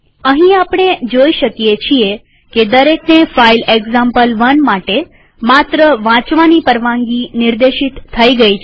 અહીં આપણે જોઈ શકીએ છીએ કે દરેકને ફાઈલ એક્ઝામ્પલ1 માટે માત્ર વાંચવાની પરવાનગી નિર્દેશિત થઇ ગઈ છે